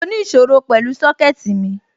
Mo ní ìṣòro pẹ̀lú Sọ́kẹ̀tì mi